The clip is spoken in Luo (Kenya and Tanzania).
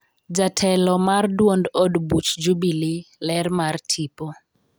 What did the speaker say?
jatelo mar duond od buch jubilee ler mar tipo